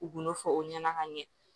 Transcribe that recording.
U kun y'o fɔ o ɲɛna ka ɲɛ